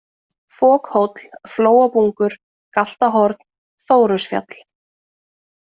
Fokhóll, Flóabungur, Galtahorn, Þórusfjall